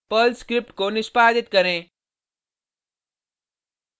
Perl script को निष्पादित करें